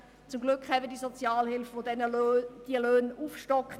Zum Glück haben wir die Sozialhilfe, welche diese Löhne aufstockt.